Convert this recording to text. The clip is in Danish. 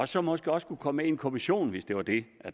som måske også kunne komme med i en kommission hvis det var det